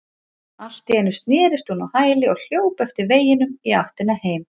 Allt í einu snerist hún á hæli og hljóp eftir veginum í áttina heim.